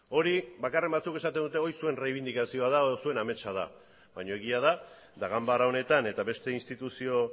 hori bakarren batzuk esaten dute hori zuen errebindikazioa da edo zuen ametsa da baina egia da eta ganbara honetan eta beste instituzio